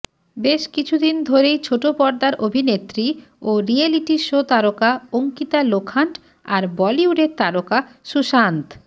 বেশ কিছুদিন ধরেই ছোটপর্দার অভিনেত্রী ও রিয়েলিটি শো তারকা অঙ্কিতা লোখান্ড আর বলিউডের তারকা সুশান্ত